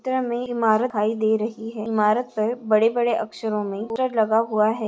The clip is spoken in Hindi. चित्र मे इमारत दिखाई दे रही है इमारत पर बड़े -बड़े अक्षरो मे पिक्चर लगा हुआ है।